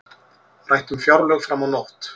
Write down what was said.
Rætt um fjárlög fram á nótt